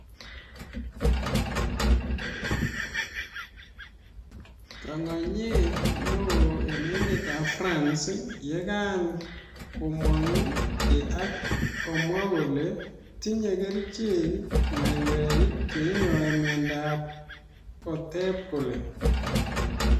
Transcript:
Tongonyet newo en emetap France yekan komang ke akomwa kole tinye kerichek maiywek cheinyoe miondo kotep kole